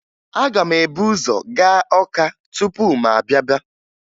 Aga m ebu ụzọ gaa Ọka tupu m bịaba